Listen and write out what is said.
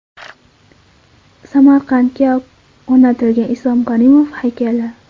Samarqandga o‘rnatilgan Islom Karimov haykali.